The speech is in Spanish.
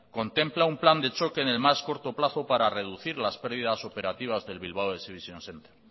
contempla un plan de choque en el más corto plazo para reducir las pérdidas operativas del bilbao exhibition centre